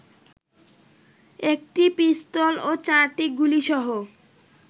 একটি পিস্তল ও চারটি গুলিসহ